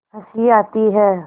हँसी आती है